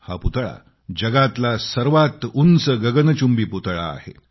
हा पुतळा जगातला सर्वात उंच गगनचुंबी पुतळा आहे